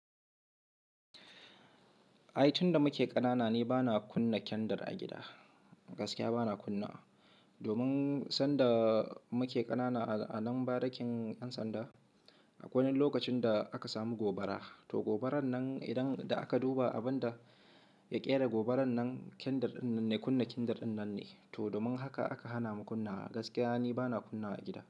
Ai tun da muke ƙanana ne bana kunna kendur a gida, gaskiya bana kunnawa. Domin sanda muke ƙanana a nan barikin yan sanda, akwai wani lokacin da aka samu gobara. To gobarar nan idan da aka duba abin da ya ƙera gobarar nan, kendur ɗinnan ne, kunna kendur ɗinnan ne. Toh domin haka aka hana mu kunna wa, gaskiya ni bana kunna a gida.